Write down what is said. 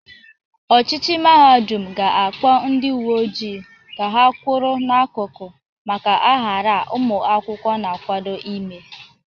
Ọchịchị mahadum ga-akpọ ndị uwe ojii ka ha kwọrọ n'akụkụ maka aghara a ụmụakwụkwọ na-akwado ime.